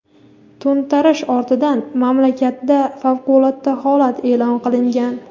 To‘ntarish ortidan mamlakatda favqulodda holat e’lon qilingan.